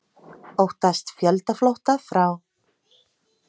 Óttast fjöldaflótta frá